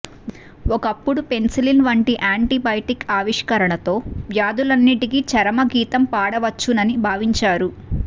ఒకప్పుడు పెన్సిలిన్ వంటి యాంటిబయాటిక్ ఆవిష్కరణతో వ్యాధుల న్నింటికీ చరమగీ తం పాడవచ్చునని భావించారు